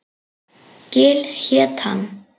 Gil hét hann.